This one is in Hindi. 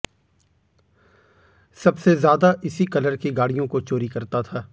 सबसे ज्यादा इसी कलर की गाडिय़ों को चोरी करता था